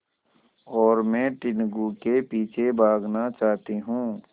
और मैं टीनगु के पीछे भागना चाहती हूँ